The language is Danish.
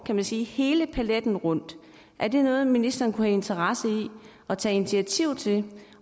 kan man sige hele paletten rundt er det noget ministeren kunne have interesse i at tage initiativ til